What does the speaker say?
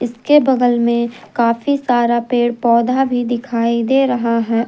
इसके बगल में काफी सारा पेड़ पौधा भी दिखाई दे रहा है।